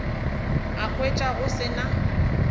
a hwetša go se na